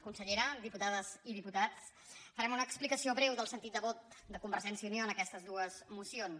consellera diputades i diputats farem una explicació breu del sentit de vot de convergència i unió en aquestes dues mocions